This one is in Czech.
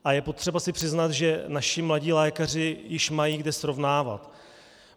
A je potřeba si přiznat, že naši mladí lékaři již mají kde srovnávat.